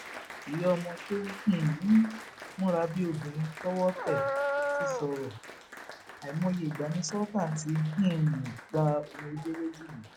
ìyá ọmọ tó um ń múra bíi obìnrin tọwọ tẹ ti sọrọ àìmọye ìgbà ni sultan ti um gba omijé lójú mi